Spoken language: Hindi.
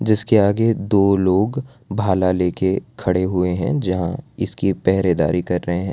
जिसके आगे दो लोग भाला लेके खड़े हुएं हैं जहां इसकी पहरेदारी कर रहें हैं।